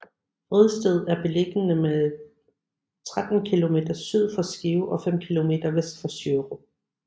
Vridsted er beliggende 13 kilometer syd for Skive og fem kilometer vest for Sjørup